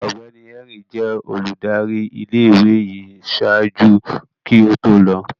Ọgbẹni Henry jẹ óludari ìlé-ìwé yii ṣaaju ki o to lọ